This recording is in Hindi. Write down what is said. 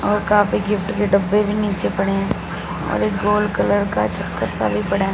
और काफी गिफ्ट के डब्बे भी नीचे पड़े हैं और एक गोल कलर का चक्कर सा भी पड़ा है।